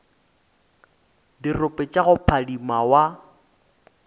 dirope tša go phadima wa